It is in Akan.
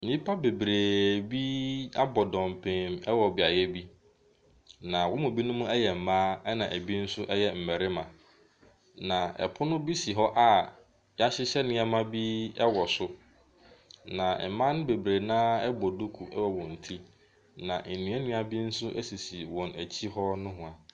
Nnipa bebree bi abɔ dɔmpem wɔ beaeɛ bi, na wɔn mu binom yɛ mmaa, ɛnna binom nso yɛ mmarima. Na pono bi si hɔ a wɔahyehyɛ nneɛma bi wɔ so, na mmaa bebree no ara bɔ duku wɔ wɔn ti, na nnuannua bi nso sisi wɔn akyi hɔ nohoa.